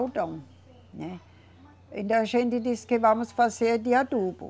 Né. Então a gente disse que vamos fazer de adubo.